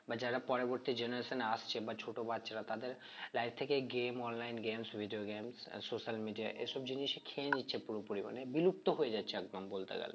এবার যারা পরবর্তী generation এ আসছে বা ছোট বাচ্চারা তাদের life থেকে এই game online games video game ah social media এসব জিনিসই খেয়ে নিচ্ছে পুরোপুরি মানে বিলুপ্ত হয়ে যাচ্ছে একদম বলতে গেলে